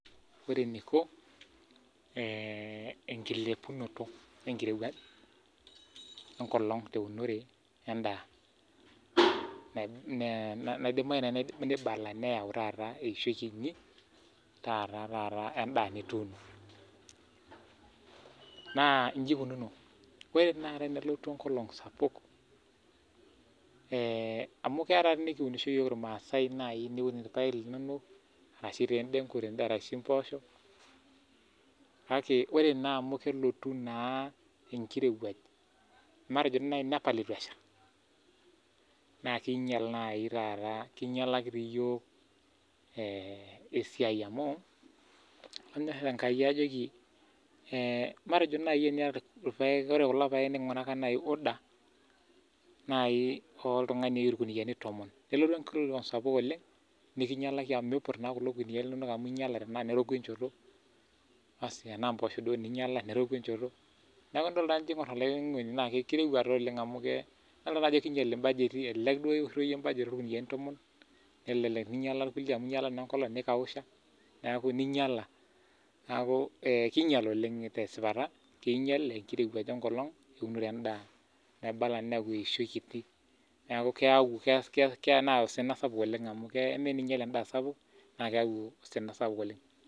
Ore eniko eh ekilepunoto ekirewuaj ekolong teunore endaa. Naidimayu neibala neyau taata eishoi kinyi naa taata endaa nituuno. Naa iji inkunono, ore naata tenelotu ekolong sapuk eh amu, keya taadi nikiunisho iyiok irmasaae naaji niun irpaek linonok arashu, tee edengu , arashu, epoosho. Kake ore naa amu, kelotu naa ekirewuaj, matejo naaji nepal eitu esha naa kinyial naai taata kinyialaki toi iyiok eh esiai amu, lanyor enkai ajoki eh matejo naaji teniata irpaek. Ore kulo paek ninguraka naaji order naii oltungani oyieu irkuniani tomon. Nelotu ekolong sapuk oleng nikinyialaki amu, miput naa kulo kuniani linonok amu, inyialate naa neroku enchoto . Asi tenaa epoosho duo ninyiala enchoto neroku enchoto. Neaku naa tenijo aingor kirowua taa oleng amu, idolita taa ajo kinyial ibajeti elelek duo iwoshito iyie ibajeti orkuniani tomon, nelelek ninyiala irkulie amu kelotu naa ekolong nikausha neaku, ninyiala. Neaku eh kinyial oleng tesipata, kinyial ekirewuaj ekolong eunore endaa naibala neyau eishoi kiti. Neaku keyau kelo neyau osina sapuk oleng amu amaa teninyial endaa sapuk naa keyaku osina sapuk oleng.